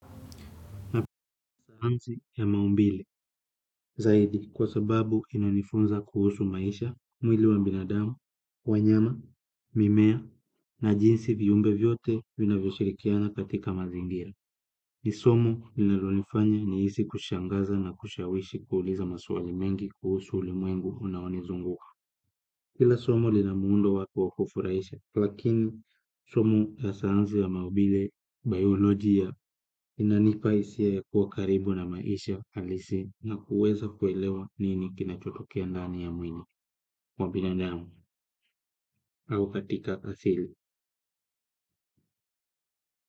Napenda sayansi ya maumbile zaidi kwa sababu inanifunza kuhusu maisha, mwili wa binadamu, wanyama, mimea na jinsi viumbe vyote vinavyoshirikiana katika mazingira. Ni somo linalonifanya nihisi kushangaza na kushawishi kuuliza maswali mengi kuhusu ulimwengu unaonizunguka. Kila somo lina muundo wake wa kufurahisha, lakini somo za sayansi ya maumbile, bayolojia, inanipa hisia ya kuwa karibu na maisha halisi na kuweza kuelewa nini kinachotokea ndani ya mwili, mwa binadamu, au katika asili.